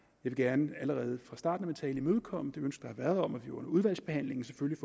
vil gerne allerede fra starten af min tale imødekomme det ønske der har været om at vi under udvalgsbehandlingen selvfølgelig